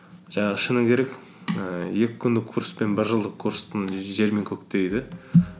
жаңағы шыны керек ііі екі күндік курс пен бір жылдық курстың жер мен көктей де